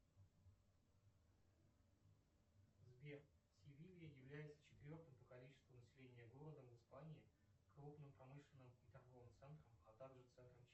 сбер севилья является четвертым по количеству населения городом в испании крупным промышленным и торговым центром а также центром